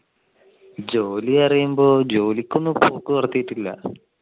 ജോലി പറയുമ്പോൾ ജോലിക്ക് ഒന്നും ഇപ്പൊ പോക്ക്